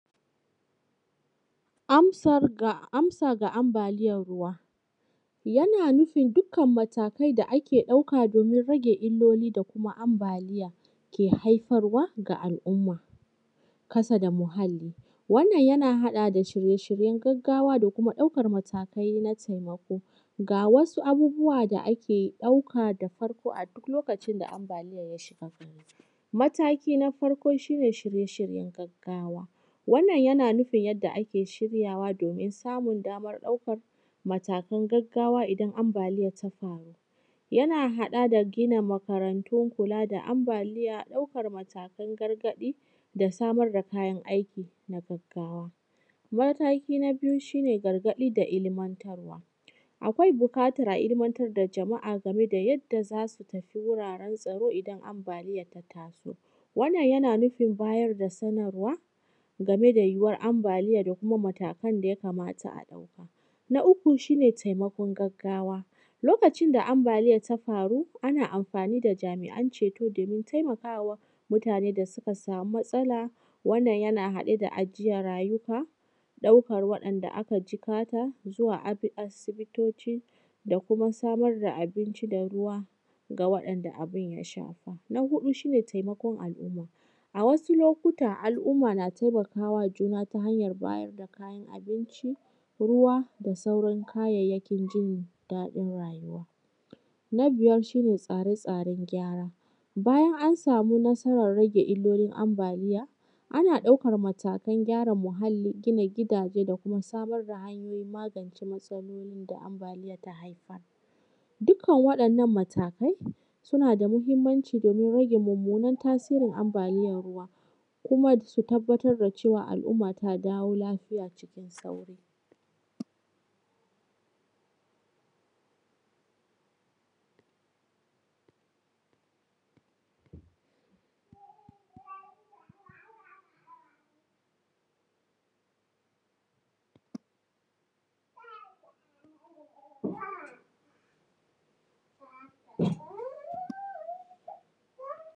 Amsa ga ambaliyan ruwa. Yana nufin dukkan matakai da ake ɗauka domin rage illoli da kuma ambaliyake haifarwa ga al’umma kasa da muhalli. Wannan yana haɗa da shirye shiryen gaggawa da kuma ɗaukar matakai na taimako. Ga wasu abubuwa da ake ɗauka. Da farko a duk lokacin da ambaliya ya shiga, mataki na farko shi ne shirye shiryen gaggawa. Wannan yana nufin yadda ake shiryawa domin samun damar ɗaukar matakan gaggawa idan ambaliya ta faru. Yana haɗa da gina makarantu kula da ambaliya, ɗaukar matakan gargaɗi, da samar da kayan aiki na gaggawa. Mataki na biyu shi ne gargaɗi da ilmantarwa. Akwai buƙatar a ilmantar da jama’a game da yadda za su tafi wuraren tsaro idan ambaliya ta taso. Wannan yana nufin bayar da sanarwa, game da yiwuwar ambaliya da kuma matakan da ya kamata a ɗauka. Na uku shi ne taimakon gaggawa. Lokacin da ambaliya ta faru, ana amfani da jami’an ceto domin taimakawa mutanen da suka samu matsala, wannan yana haɗa da ajiye rayuka, ɗaukan wa’ɗanda aka jikata zuwa asibitoci da kuma samar da abinci da ruwa ga waɗanda abun ya shafa. Na huɗu shi ne taimakon al’umma. A wasu lokuta al’umma na taimaka wa juna ta hanyar bayar da kayan abinci, ruwa da sauran kayayyakin jin daɗin rayuwa. Na biyar shi ne tsare tsaren gyara. Bayan an samu nasarar rage illolin ambaliya, ana ɗaukar matakan gyara muhalli, gina gidaje, da kuma samar da hanyoyin magance matsalolin da ambaliya ta haifar. Dukkan waɗannan matakai suna da muhimmanci domin rage mummunan tasirin ambaliyan ruwa, kuma su tabbatar da cewa al’umma ta dawo lafiya cikin sauri.